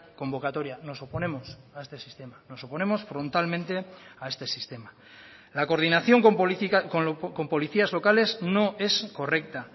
convocatoria nos oponemos a este sistema nos oponemos frontalmente a este sistema la coordinación con policías locales no es correcta